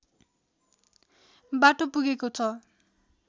बाटो पुगेको छ